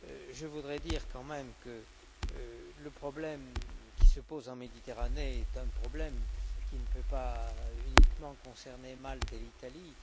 je voudrais dire quand même que le problème qui se pose en Méditerranée est un problème qui ne peut pas uniquement concerner Malte et l'Italie.